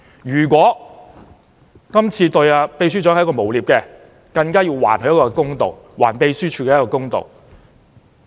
如果查明今次這項指控是對秘書長的誣衊，更要還他一個公道，還秘書處一個公道。